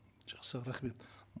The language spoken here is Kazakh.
жақсы рахмет